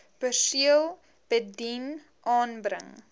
perseel bedien aanbring